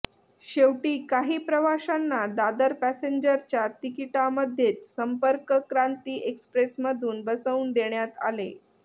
शेवटी काही प्रवाशांना दादर पॅसेंजरच्या तिकीटामध्येच संपर्कक्रांती एक्स्प्रेसमधून बसवून देण्यात आले